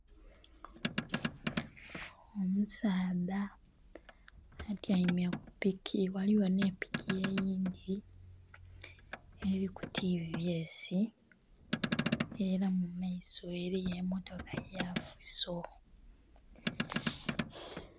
Omusaadha atyaime kupiki ghaligho n'epiki eyindhi eri ku tvs era mumaiso eriyo emmotoka yafiso.